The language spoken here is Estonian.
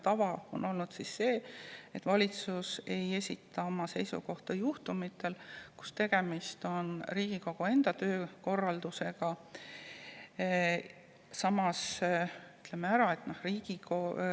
Tava on olnud selline, et valitsus ei esita oma seisukohta juhul, kui tegemist on Riigikogu enda töökorralduse.